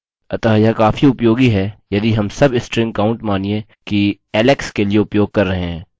अतः यह काफी उपयोगी है यदि हम सबस्ट्रिंग काउंट मानिए कि alex के लिए उपयोग कर रहे हैं